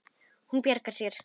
Hún bjargar sér.